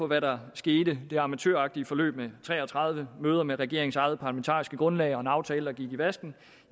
hvad der skete det amatøragtige forløb med tre og tredive møder med regeringens eget parlamentariske grundlag og en aftale der gik i vasken